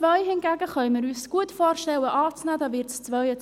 Hingegen können wir uns gut vorstellen, den Punkt 2 anzunehmen.